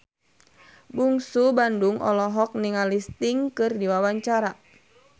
Bungsu Bandung olohok ningali Sting keur diwawancara